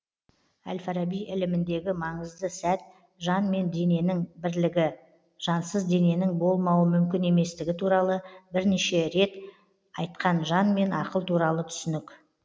әл фараби іліміндегі маңызды сәт жан мен дененің бірлігі жансыз дененің болмауы мүмкін еместігі туралы бірнеше рет айтқан жан мен ақыл туралы түсінік